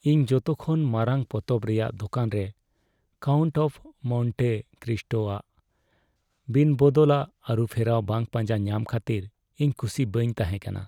ᱤᱧ ᱡᱚᱛᱚᱠᱷᱚᱱ ᱢᱟᱨᱟᱝ ᱯᱚᱛᱚᱵ ᱨᱮᱭᱟᱜ ᱫᱳᱠᱟᱱ ᱨᱮ "ᱠᱟᱣᱩᱱᱴ ᱚᱯᱷ ᱢᱚᱱᱴᱮ ᱠᱨᱤᱥᱴᱳ" ᱟᱜ ᱵᱤᱱᱵᱚᱫᱚᱞᱟᱜ ᱟᱹᱨᱩᱯᱷᱮᱨᱟᱣ ᱵᱟᱝ ᱯᱟᱸᱡᱟ ᱧᱟᱢ ᱠᱷᱟᱹᱛᱤᱨ ᱤᱧ ᱠᱩᱥᱤ ᱵᱟᱹᱧ ᱛᱟᱦᱮᱸ ᱠᱟᱱᱟ ᱾